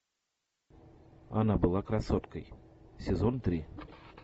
она была красоткой сезон три